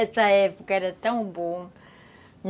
Essa época era tão boa.